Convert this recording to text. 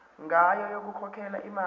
ngayo yokukhokhela imali